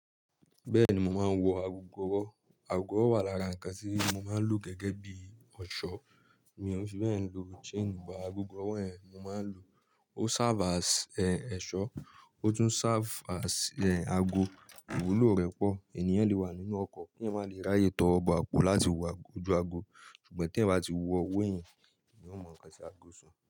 Bẹ́ẹ̀ni mò máa n wọ ago ọwọ́. Ago ọwọ́ wà lára nǹkan tí mo máa ń lò gẹ́gẹ́ bí i ẹ̀ṣọ́, mí rí pé ẹ̀ ń lo chain bo ago ọwọ́ yẹn, mò máa ń lò, ó serve as ẹ́, ẹ̀ṣọ́, ó tún serve as ẹ́, ago, ìwúlò rẹ̀ pọ̀. Ènìyàn le wà nínú ọkọ̀, kí eyan máa le ráyè towo bo àpò láti wo ago ju ago, ṣùgbọ́n tí ẹ̀ bá ti wọ owó ẹ̀yan, eyan ó mọ̀ ǹkan tí ago so.